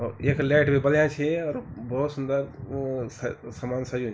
यख लैट बि बल्या छी और भौत सुंदर अ स समान सज्यु --